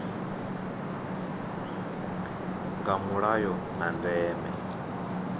nga mulayo na ndeme ya